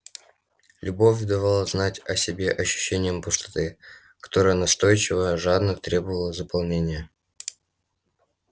любовь давала знать о себе ощущением пустоты которая настойчиво жадно требовала заполнения